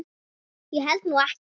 Ég held nú ekki!